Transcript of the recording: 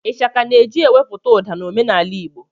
Ịshaka na-eji ewepụta ụda na omenaala igbo